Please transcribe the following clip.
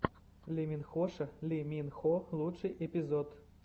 лиминхоша ли мин хо лучший эпизод